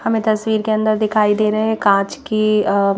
हमें तस्वीर के अंदर दिखाई दे रहे हैं कांच की अ--